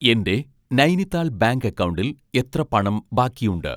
എൻ്റെ നൈനിത്താൾ ബാങ്ക് അക്കൗണ്ടിൽ എത്ര പണം ബാക്കിയുണ്ട്?